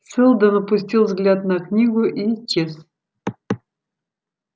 сэлдон опустил взгляд на книгу и исчез